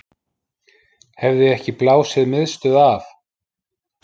Hefði ekki blásið miðstöð af